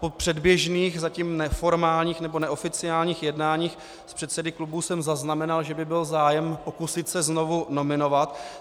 Po předběžných, zatím neformálních nebo neoficiálních jednáních s předsedy klubů jsem zaznamenal, že by byl zájem pokusit se znovu nominovat.